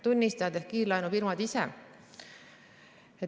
Tunnistajad ehk kiirlaenufirmad ise.